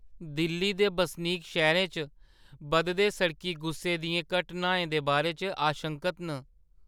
दिल्ली दे बसनीक शैह्‌रै च बधदे सड़की गुस्से दियें घटनाएं दे बारे च आशंकत न।